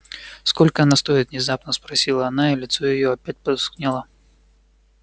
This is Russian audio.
сколько она стоит внезапно спросила она и лицо её опять потускнело